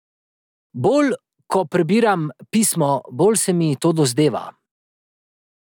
Bolj ko prebiram pismo, bolj se mi to dozdeva.